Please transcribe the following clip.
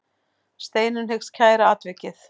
Steinunn hyggst kæra atvikið.